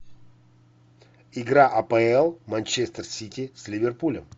игра апл манчестер сити с ливерпулем